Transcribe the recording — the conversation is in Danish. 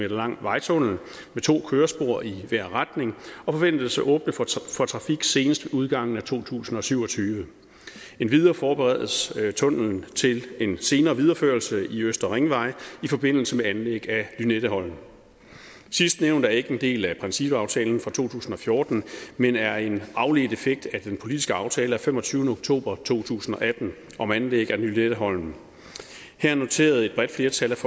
lang vejtunnel med to kørespor i hver retning og forventes at åbne for trafik senest ved udgangen af to tusind og syv og tyve endvidere forberedes tunnellen til en senere videreførelse i østlig ringvej i forbindelse med anlæg af lynetteholmen sidstnævnte er ikke en del af principaftalen fra to tusind og fjorten men er en afledt effekt af den politiske aftale af femogtyvende oktober to tusind og atten om anlæg af lynetteholmen her noterede et bredt flertal